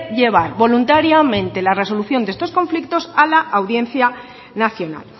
llevar voluntariamente la resolución de estos conflictos a la audiencia nacional